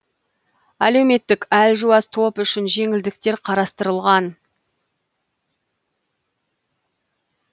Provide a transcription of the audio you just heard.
әлеуметтік әлжуаз топ үшін жеңілдіктер қарастырылған